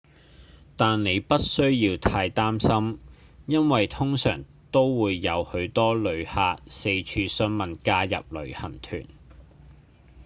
但您不需要太擔心因為通常都會有許多旅客四處詢問加入旅行團